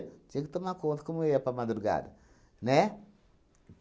Tinha que tomar conta como eu ia para a madrugada, né?